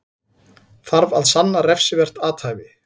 Þarf að sanna refsivert athæfi